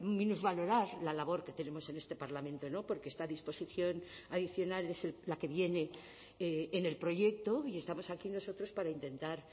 minusvalorar la labor que tenemos en este parlamento porque esta disposición adicional es la que viene en el proyecto y estamos aquí nosotros para intentar